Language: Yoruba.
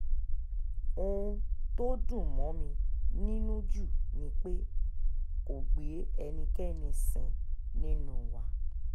ohun tó dùn mọ́ mi nínú jù ni pé kó gbé ẹnikẹ́ni sìn nínú wa